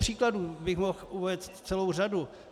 Příkladů bych mohl uvést celou řadu.